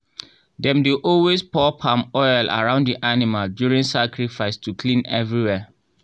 dem dey always pour palm oil around the animal during sacrifice to clean everywhere.